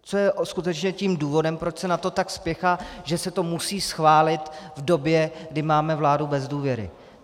Co je skutečně tím důvodem, proč se na to tak spěchá, že se to musí schválit v době, kdy máme vládu bez důvěry?